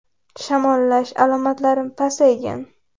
Shamollash alomatlarim pasaygan.